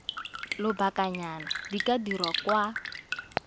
lobakanyana di ka dirwa kwa